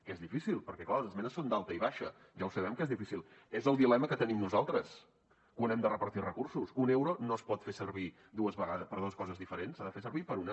que és difícil perquè clar les esmenes són d’alta i baixa ja ho sabem que és difícil és el dilema que tenim nosaltres quan hem de repartir recursos un euro no es pot fer servir per a dos coses diferents s’ha de fer servir per a una